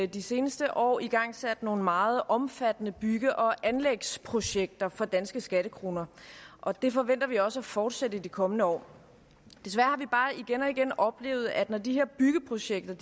de seneste år igangsat nogle meget omfattende bygge og anlægsprojekter for danske skattekroner og det forventer vi også at fortsætte i de kommende år desværre har vi bare igen og igen oplevet at når de her byggeprojekter